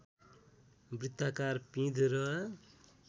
वृत्ताकार पिँध र